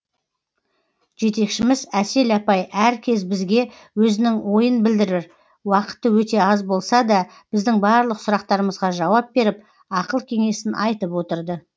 жетекшіміз әсел апай әр кез бізге өзінің ойын білдірір уақыты өте аз болса да біздің барлық сұрақтарымызға жауап беріп ақыл кеңесін айтып отырды